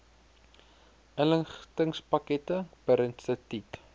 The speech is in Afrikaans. inligtingspakkette per instituut